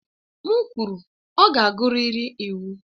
M kwuru, ọ ga-agụrịrị iwu!